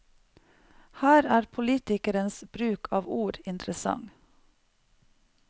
Her er politikerens bruk av ord interessant.